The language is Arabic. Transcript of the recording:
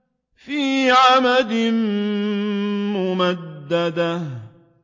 فِي عَمَدٍ مُّمَدَّدَةٍ